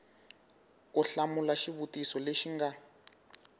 u hlamula xivutiso lexi nga